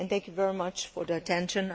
Thank you very much for your attention.